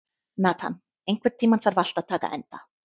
Nathan, einhvern tímann þarf allt að taka enda.